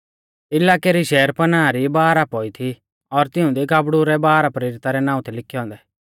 इलाकै री शहरपनाह री बाराह पौई थी और तिऊंदी गाबड़ु रै बारह प्रेरिता रै नाऊं थै लिखै औन्दै